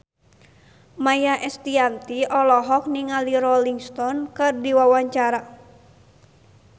Maia Estianty olohok ningali Rolling Stone keur diwawancara